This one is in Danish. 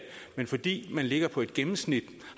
men fordi man ligger på et gennemsnit